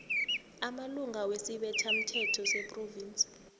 amalunga wesibethamthetho sephrovinsi